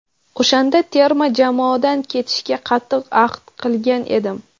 O‘shanda terma jamoadan ketishga qattiq ahd qilgan edim.